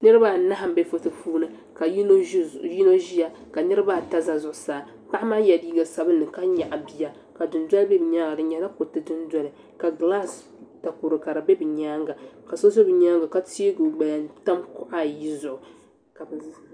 Niriba anahi m bɛ foto puuni ka yino ʒeya ka niriba ata za zuɣusaa paɣa maa yɛla liiga sabinli ka nyaɣi bia ka dundoli be bɛ nyaaŋa di nyɛla kuruti dundoli ka glasɛ takɔro ka di be bɛ nyaaŋa ka so za bɛ nyaaŋa ka teegi o gbaya tam kuɣa ayi zuɣu.